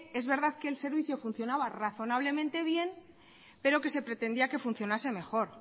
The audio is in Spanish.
es verdad que el servicio funcionaba razonablemente bien pero que se pretendía que funcionase mejor